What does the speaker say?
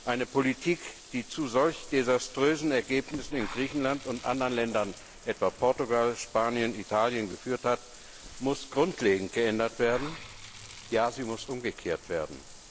Eine Politik, die zu solch desaströsen Ergebnissen in Griechenland und anderen Ländern etwa Portugal, Spanien, Italien geführt hat, muss grundlegend geändert, ja sie muss umgekehrt werden.